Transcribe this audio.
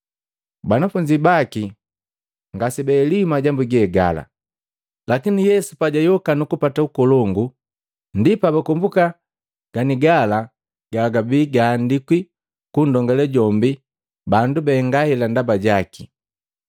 Banafunzi baki ngasebaheliwi majambu ge gala, lakini Yesu pajayoka nukupata ukolongu, ndi pabakombuka ganigala gabi gaandikwi kundongale jombi bandu bahenga hela ndaba jaki.